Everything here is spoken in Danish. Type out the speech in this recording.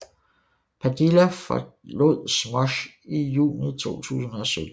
Padilla forlod Smosh i juni 2017